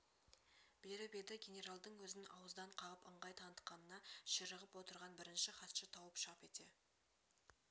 беріп еді генералдың өзін ауыздан қағып ыңғай танытқанына ширығып отырған бірінші хатшы тауып шап ете